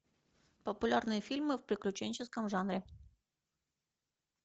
популярные фильмы в приключенческом жанре